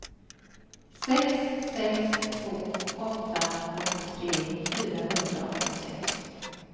sex sex två åtta åttiotre fyrahundraåttiosex